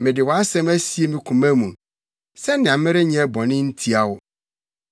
Mede wʼasɛm asie me koma mu sɛnea merenyɛ bɔne ntia wo.